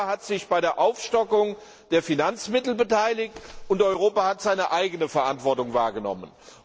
Europa hat sich bei der Aufstockung der Finanzmittel beteiligt, und Europa hat seine eigene Verantwortung wahrgenommen.